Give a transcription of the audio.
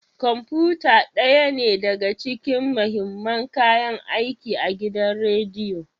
Kwamfuta ɗaya ne daga cikin mahimman kayan aiki a gidan rediyo.